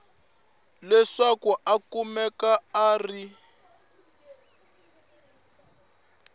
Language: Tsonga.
leswaku a kumeka a ri